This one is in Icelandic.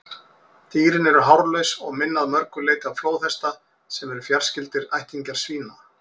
Dýrin eru hárlaus og minna að mörgu leyti á flóðhesta, sem eru fjarskyldir ættingjar svína.